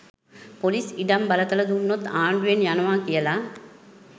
Police ඉඩම් බලතල දුන්නොත් ආණ්ඩුවෙන් යනවා කියලා.